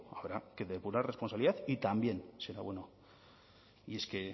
habrá que depurar responsabilidad y también será bueno y es que he